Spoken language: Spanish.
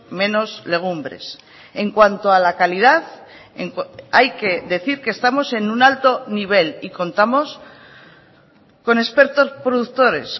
menos legumbres en cuanto a la calidad hay que decir que estamos en un alto nivel y contamos con expertos productores